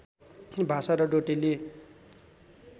भाषा र डोटेली